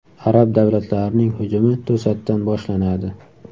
Arab davlatlarining hujumi to‘satdan boshlanadi.